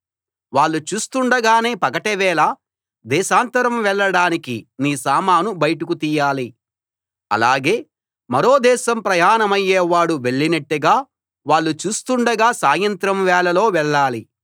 వాళ్ళు చూస్తుండగానే పగటి వేళ దేశాంతరం వెళ్ళడానికి నీ సామాను బయటకి తీయాలి అలాగే మరో దేశం ప్రయాణమయ్యే వాడు వెళ్ళినట్టుగా వాళ్ళు చూస్తుండగా సాయంత్రం వేళలో వెళ్ళాలి